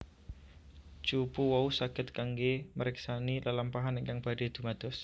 Cupu wau saged kanggé mriksani lelampahan ingkang badhé dumados